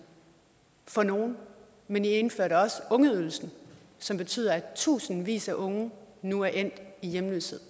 for nogle men i indførte også ungeydelsen som betyder at tusindvis af unge nu er endt i hjemløshed